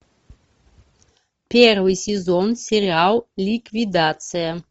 первый сезон сериал ликвидация